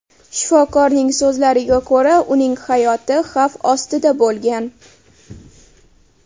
Shifokorning so‘zlariga ko‘ra, uning hayoti xavf ostida bo‘lgan.